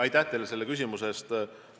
Aitäh teile selle küsimuse eest!